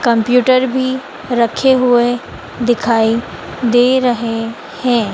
Computer भी रखे हुएं दिखाई दे रहे हैं।